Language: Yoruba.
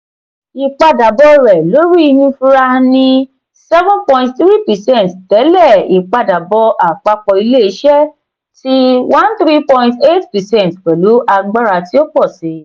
ipadabọ rẹ lori inifura ni seven point three percent tẹle ipadabọ apapọ ile-iṣẹ ti thirteen point eight percent pelu agbara ti o pọ si.